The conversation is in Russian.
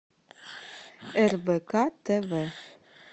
рбк тв